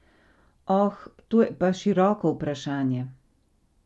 Oh, to je pa široko vprašanje.